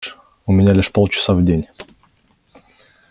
у меня лишь полчаса в день